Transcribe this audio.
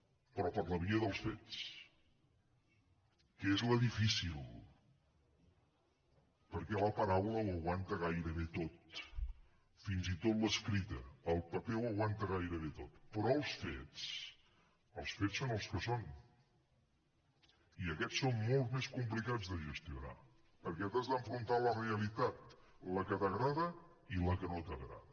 però per la via dels fets que és la difícil perquè la paraula ho aguanta gairebé tot fins i tot l’escrita el paper ho aguanta gairebé tot però els fets els fets són els que són i aquests són molt més complicats de gestionar perquè t’has d’enfrontar a la realitat la que t’agrada i la que no t’agrada